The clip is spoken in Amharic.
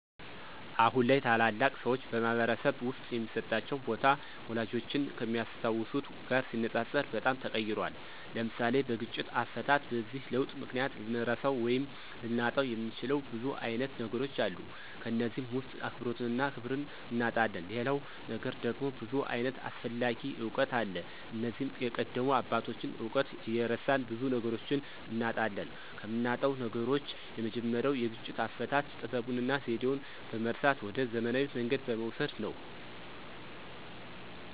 አሁን ላይ ታላላቅ ሰዎች በማኅበረሰብ ውስጥ የሚሰጣቸው ቦታ፣ ወላጆቻችን ከሚያስታውሱት ጋር ሲነጻጸር በጣም ተቀይሯል። (ለምሳሌ፦ በግጭት አፈታት) በዚህ ለውጥ ምክንያት ልንረሳው ወይም ልናጣው የምንችለው ብዙ አይነት ነገሮች አሉ ከነዚህም ውስጥ አክብሮትንና ክብርን እናጣለን ሌላው ነገር ደግሞ ብዙ ዓይነት አስፈላጊ እውቀት አለ እነዚህም የቀደሙ አባቶችን እውቀት እየረሳን ብዙ ነገሮችን እናጣለን። ከምናጣው ነገሮች የመጀመሪያው የግጭት አፈታት ጥበቡንና ዘዴውን በመርሳት ወደ ዘመናዊ መንገድ በመውሰድ ነው።